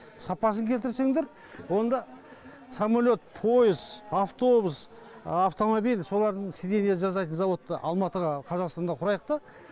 сапасын келтірсеңдер онда самолет поез автобус автомобиль солардың сиденье жасайтын завод алматыға қазақстанда құрайық та